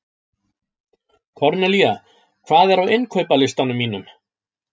Kornelía, hvað er á innkaupalistanum mínum?